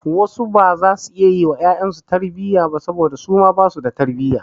Wasu baza su iya yi wa ƴaƴansu su tarbiyya ba saboda su ma basu da tarbiyya.